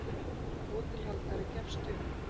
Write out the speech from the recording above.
og hótelhaldari gefst upp.